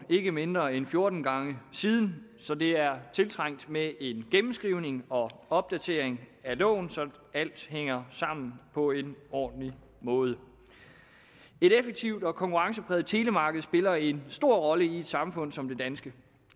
ikke mindre end fjorten gange siden så det er tiltrængt med en gennemskrivning og opdatering af loven så alt hænger sammen på en ordentlig måde et effektivt og konkurrencepræget telemarked spiller en stor rolle i et samfund som det danske